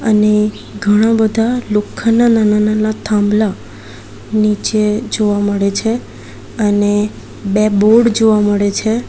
અને ઘણા બધા લોખંડના નાના-નાના થાંભલા નીચે જોવા મળે છે અને બે બોર્ડ જોવા મળે છે.